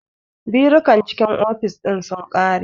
Birukan cikin ofis ɗin sun ƙare